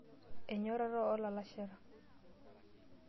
Enyorata oolalashera.